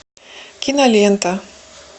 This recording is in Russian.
кинолента